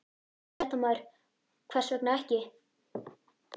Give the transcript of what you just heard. Fréttamaður: Hvers vegna ekki?